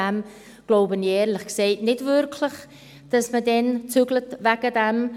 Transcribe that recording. Ich glaube ehrlich gesagt nicht wirklich, dass man deswegen umziehen wird.